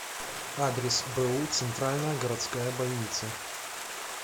адрес бу центральная городская больница